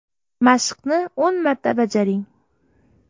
Mashqni o‘n marta bajaring.